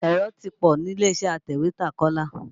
Èrò ti pọ̀ nílé-iṣẹ́ atẹ̀wétà Kọ́lá.